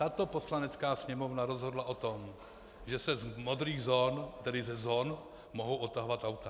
Tato Poslanecká sněmovna rozhodla o tom, že se z modrých zón, tedy ze zón, mohou odtahovat auta.